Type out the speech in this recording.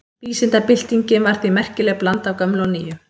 Vísindabyltingin var því merkileg blanda af gömlu og nýju.